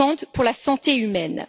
pour la santé humaine.